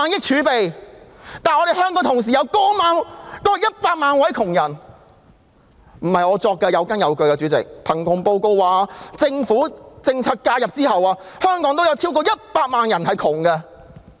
主席，不是我亂說，而是有根有據的：據貧窮報告顯示，在政府政策介入後，香港仍有超過100萬名窮人。